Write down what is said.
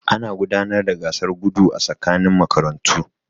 Ana gudanar da gasar gudu a tsakanin makarantu.